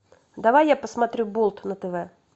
давай я посмотрю болт на тв